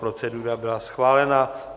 Procedura byla schválena.